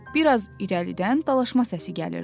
Bir az irəlidən dalaşma səsi gəlirdi.